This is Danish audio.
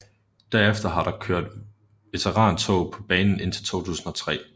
Derefter har der kørt veterantog på banen indtil 2003